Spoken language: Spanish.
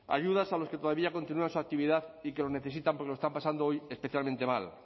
ayudas a los que todavía continúan su actividad y que lo necesitan porque lo están pasando hoy especialmente mal